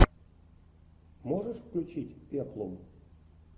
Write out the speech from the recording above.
можешь включить пеплум